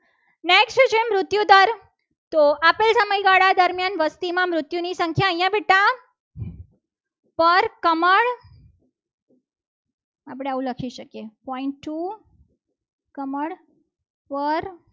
તો આટલા સમયગાળા દરમિયાન વસ્તીની નૃત્યોની સંખ્યા અહીંયા બેઠા પર કમળ આપણે આવું લખી શકીએ. જીરો point ટુ કમળ પર